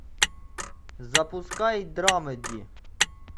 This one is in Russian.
запускай драмеди